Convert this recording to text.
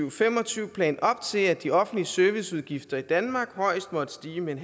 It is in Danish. og fem og tyve plan op til at de offentlige serviceudgifter i danmark højst måtte stige med